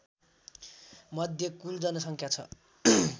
मध्ये कुल जनसङ्ख्या छ